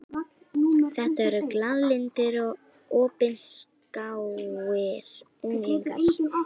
Þetta eru glaðlyndir og opinskáir unglingar.